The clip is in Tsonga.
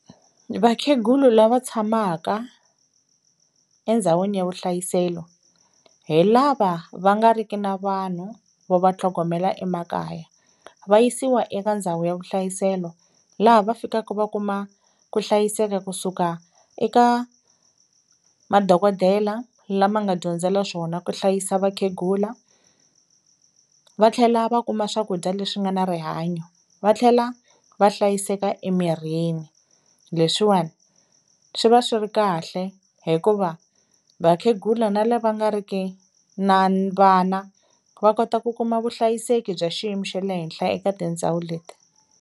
Vakhegulu lava tshamaka endzhawini ya vuhlayiselo hi lava va nga riki na vanhu vo va tlhogomela emakaya, va yisiwa eka ndhawu ya vuhlayiselo laha va fikaka va kuma ku hlayiseka kusuka eka madokodela lama nga dyondzela swona ku hlayisa vakhegula, va tlhela va kuma swakudya leswi nga na rihanyo, va tlhela va hlayiseka emirhini, leswiwani swi va swi ri kahle hikuva vakhegula na la va nga ri ki na vana va kota ku kuma vuhlayiseki bya xiyimo xe le henhla eka tindhawu leti.